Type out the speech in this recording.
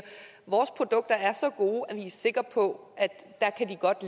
vores produkter er så gode at vi er sikre på at de godt